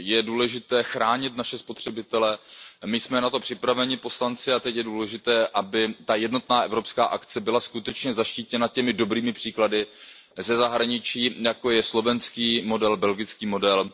Je důležité chránit naše spotřebitele, my poslanci jsme na to připraveni a teď je důležité, aby ta jednotná evropská akce byla skutečně zaštítěna těmi dobrými příklady ze zahraničí, jako je slovenský model, belgický model.